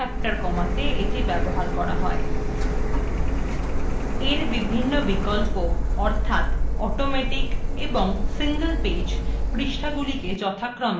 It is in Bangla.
এর বিভিন্ন বিকল্প অর্থাৎ automatic এবং single page পৃষ্ঠ গুলিকে যথাক্রমে পাশাপাশি এবং নীচে নীচে দেখায়